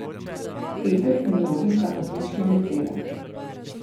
Peter in Robi sta odlično letela.